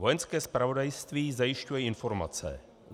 Vojenské zpravodajství zajišťuje informace